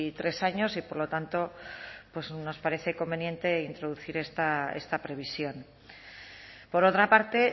tres años y por lo tanto pues nos parece conveniente introducir esta previsión por otra parte